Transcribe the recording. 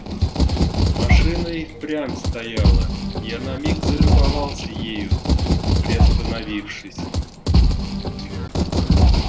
машина и впрямь стояла я на миг залюбовался ею приостановившись